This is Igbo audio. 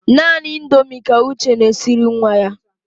Naanị Indomi ka Uche na-esiri nwa ya.